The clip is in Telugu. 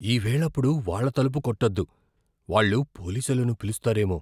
ఈ వేళప్పుడు వాళ్ళ తలుపు కొట్టొద్దు. వాళ్ళు పోలీసులను పిలుస్తారేమో.